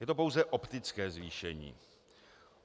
Je to pouze optické zvýšení.